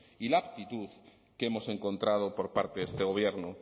y la aptitud que hemos encontrado por parte de este gobierno